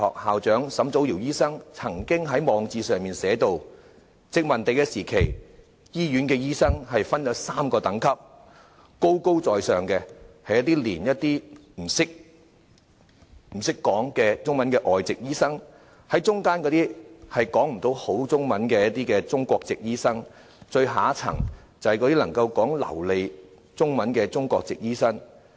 香港中文大學校長沈祖堯醫生曾經在網誌上提到，殖民地時期，醫院的醫生分3個等級：最高的是完全不諳中文的外籍醫生；中間的是略懂中文的中國籍醫生，最下層就是能操流利中文的中國籍醫生。